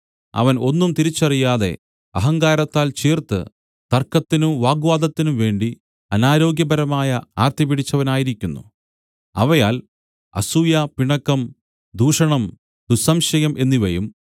അവൻ ഒന്നും തിരിച്ചറിയാതെ അഹങ്കാരത്താൽ ചീർത്ത് തർക്കത്തിനും വാഗ്വാദത്തിനും വേണ്ടി അനാരോഗ്യപരമായ ആർത്തി പിടിച്ചവനായിരിക്കുന്നു അവയാൽ അസൂയ പിണക്കം ദൂഷണം ദുസ്സംശയം എന്നിവയും